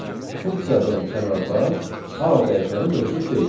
Funksiyadan kənarda a dəyişəni mövcud deyil.